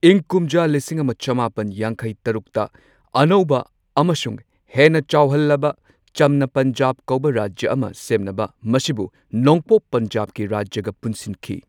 ꯏꯪ ꯀꯨꯝꯖꯥ ꯂꯤꯁꯤꯡ ꯑꯃ ꯆꯃꯥꯄꯟ ꯌꯥꯡꯈꯩ ꯇꯔꯨꯛꯇ ꯑꯅꯧꯕ ꯑꯃꯁꯨꯡ ꯍꯦꯟꯅ ꯆꯥꯎꯍꯜꯂꯕ ꯆꯝꯅ ꯄꯟꯖꯥꯕ ꯀꯧꯕ ꯔꯥꯖ꯭ꯌꯥ ꯑꯃ ꯁꯦꯝꯅꯕ ꯃꯁꯤꯕꯨ ꯅꯣꯡꯄꯣꯛ ꯄꯟꯖꯥꯕꯀꯤ ꯔꯥꯖ꯭ꯌꯥꯒ ꯄꯨꯟꯁꯤꯟꯈꯤ꯫